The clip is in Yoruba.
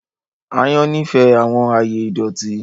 Àyàn nifẹ awọn aaye idọti